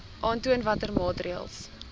aantoon watter maatreëls